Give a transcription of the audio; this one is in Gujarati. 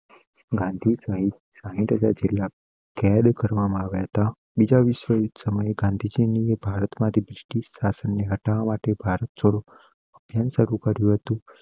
ગાંધી સાહિત્ય સાઈટ હજાર જિલ્લા કેદ કરવામાં આવતા બીજા વિશ્વયુદ્ધ સમય ગાંધીજી ને ભારતમાંથી બ્રિટિશ શાસન હટાવવા માટે ભારત છોડો અભ્યાન શરૂ કર્યું હતું.